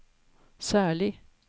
særlig